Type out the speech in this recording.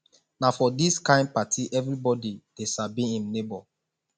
na for dis kain party everybodi dey sabi im nebo